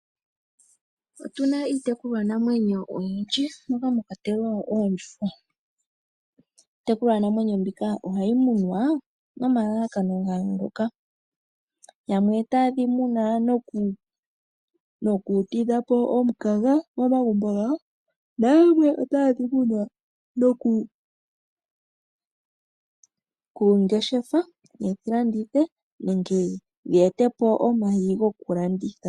Otu na iitekulwanamwenyo oyindji moka mwa kwatelwa oondjuhwa. Iitekulwanamwenyo mbika ohayi munwa nomalalakano ga yooloka. Yamwe otaye dhi muna, opo ya tidhe po omukaga momagumbo gawo nayamwe otaye dhi muna opo ya ngeshefe, ye dhi landithe nenge ye ete po omayi gokulanditha.